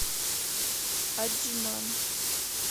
аджман